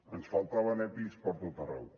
ens faltaven epis per tot arreu